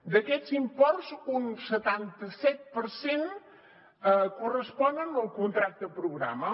d’aquests imports un setanta set per cent corresponen al contracte programa